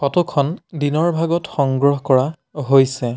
Photo খন দিনৰ ভাগত সংগ্ৰহ কৰা হৈছে।